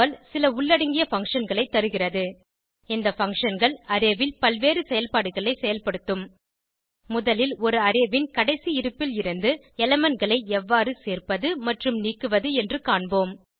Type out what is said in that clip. Perl சில உள்ளடங்கிய function களை தருகிறது இந்த functionகள் அரே ல் பல்வேறு செயல்பாடுகளை செயல்படுத்தும் முதலில் ஒரு அரே ன் கடைசி இருப்பில் இருந்து elementகளை எவ்வாறு சேர்ப்பது மற்றும் நீக்குவது என்று கற்போம்